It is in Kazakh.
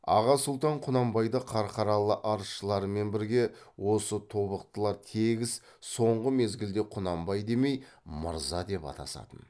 аға сұлтан құнанбайды қарқаралы арызшыларымен бірге осы тобықтылар тегіс соңғы мезгілде құнанбай демей мырза деп атасатын